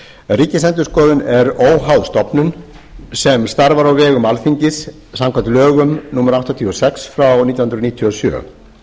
ríkisendurskoðun er óháð stofnun sem starfar á vegum alþingis samkvæmt lögum númer áttatíu og sex nítján hundruð níutíu og sjö